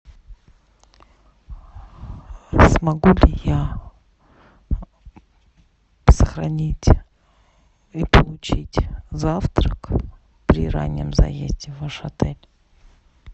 смогу ли я сохранить и завтрак при раннем заезде в ваш отель